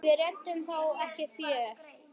Við réðum þó ekki för.